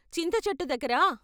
చింతచెట్టు దగ్గర....